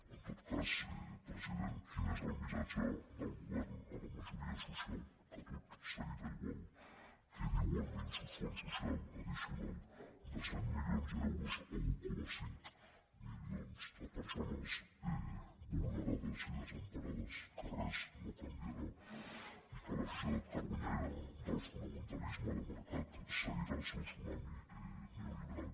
en tot cas president quin és el missatge del govern a la majoria social que tot seguirà igual què diu el minso fons social addicional de cent milions d’euros a un coma cinc milions de persones vulnerades i desemparades que res no canviarà i que la societat carronyaire del fonamentalisme de mercat seguirà el seu tsunami neoliberal